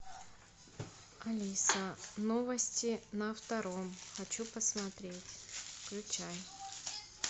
алиса новости на втором хочу посмотреть включай